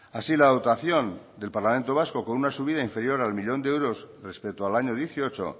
así la dotación del parlamento vasco con una subida inferior a uno millón de euros respecto al año dieciocho